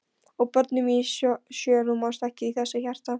Og börnin mín sjö rúmast ekki í þessu hjarta.